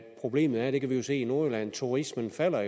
problemet er det kan vi jo se i nordjylland at turismen jo falder